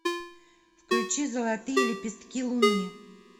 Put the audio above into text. включи золотые лепестки луны